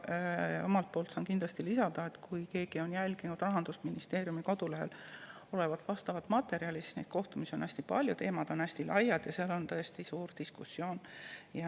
Omalt poolt saan lisada seda, et kui jälgida Rahandusministeeriumi kodulehel olevat materjali, siis neid kohtumisi on hästi palju, teemad on hästi laiad ja diskussioon on tõesti suur.